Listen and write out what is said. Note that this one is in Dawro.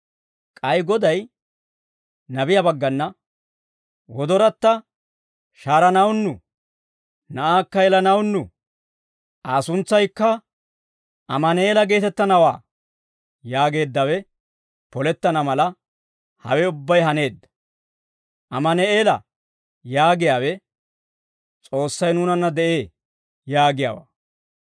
K'ay Goday nabiyaa baggana, «Wodoratta shahaaranawunnu; na'aakka yelanawunnu; Aa suntsaykka Ammaneela geetettanawaa» yaageeddawe polettana mala, hawe ubbay haaneedda; «Ammaneela» yaagiyaawe, «S'oossay nuunanna de'ee» yaagiyaawaa.